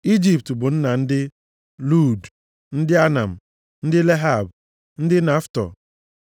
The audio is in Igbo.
Ijipt bụ nna ndị Lud, ndị Anam, ndị Lehab, ndị Naftuh,